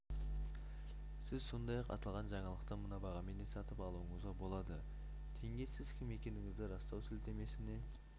сіз сондай-ақ аталған жаңалықты мына бағамен де сатып алуыңызға болады тенге сіз кім екендігіңізді растау сілтемесіне